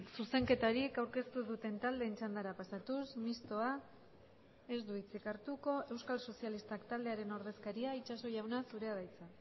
zuzenketarik aurkeztu ez duten taldeen txandara pasatuz mistoa ez du hitzik hartuko euskal sozialistak taldearen ordezkaria itxaso jauna zurea da hitza